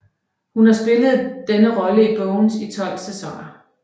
Hun har spillet denne rolle i Bones i 12 sæsoner